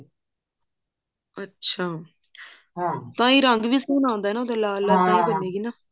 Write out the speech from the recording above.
ਅੱਛਾ ਤਾਂ ਰੰਗ ਵੀ ਸੋਹਣਾ ਆਉਂਦਾ ਲਾਲ ਲਾਲ ਬਣੇਗੀ